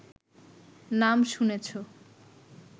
নাম শুনেছ